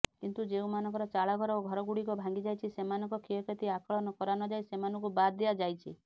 କିନ୍ତୁ ଯେଉଁମାନଙ୍କର ଚାଳଘର ଓ ଘରଗୁଡିକ ଭାଙ୍ଗିଯାଇଛି ସେମାନଙ୍କ କ୍ଷୟକ୍ଷତି ଆକଳନ କରାନଯାଇ ସେମାନଙ୍କୁ ବାଦ୍ ଦିଆଯାଇଛି